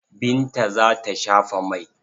Binta za ta shafa mai.